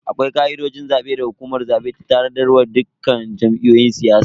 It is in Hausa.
Akwai ka'idojin zabe da hukumar zabe ta tanadar wa dukkan jam'iyyun siyasa.